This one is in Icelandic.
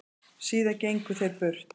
Síðan gengu þeir burt.